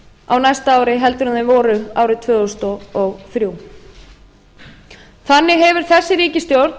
á næsta ári heldur en þau voru árið tvö þúsund og þrjú þannig hefur þessi ríkisstjórn